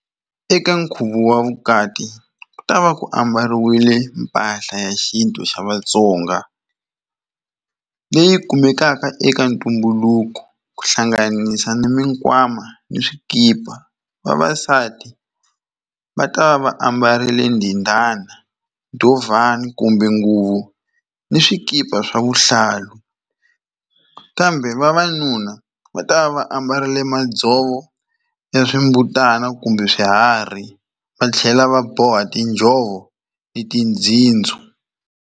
Eka nkhuvo wa vukati ku ta va ku ambarile mpahla ya xintu xa Vatsonga leyi kumekaka eka ntumbuluko ku hlanganisa ni mikwama ni swikipa vavasati va ta va va ambarile ndindana dovhana kumbe nguvu na swikipa swa vuhlalu kambe vavanuna va ta va va ambarile madzovo ya swimbutana kumbe swiharhi va tlhela va boha tinjhovo ni tindzhindzo.